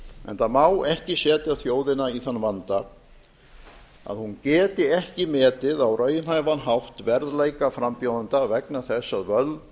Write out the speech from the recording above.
enda má ekki setja þjóðina í þann vanda að hún geti ekki metið á raunhæfan hátt verðleika frambjóðenda vegna þess að völd